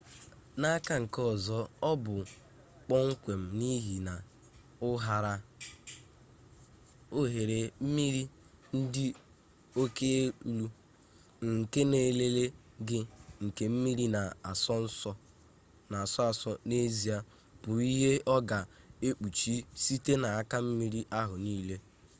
n'aka nke ọzọ ọ bụ kpomkwem n'ihi na ụharaohere mmiri dị oke elu nke na nlele gị nke mmiri na-asọ asọ n'ezie bụ ihe ọ ga-ekpuchi-site n'aka mmiri ahụ niile